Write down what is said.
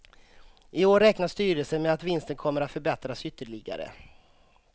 I år räknar styrelsen med att vinsten kommer att förbättras ytterligare.